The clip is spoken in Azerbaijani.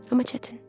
Amma çətin.